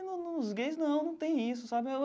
E no nos gays, não, não tem isso, sabe?